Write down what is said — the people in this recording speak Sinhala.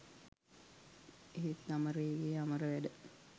එහෙත් අමරේගේ අමර වැඩ